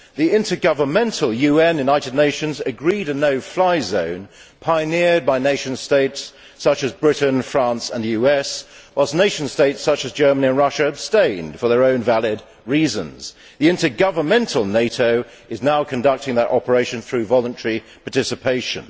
The intergovernmental United Nations agreed a no fly zone pioneered by nation states such as Britain, France and the United States, whilst nation states such as Germany and Russia abstained for their own valid reasons. The intergovernmental NATO is now conducting that operation through voluntary participation.